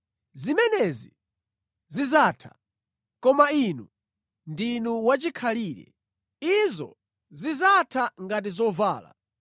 Zimenezi zidzatha, koma Inu ndinu wachikhalire. Izo zidzatha ngati zovala.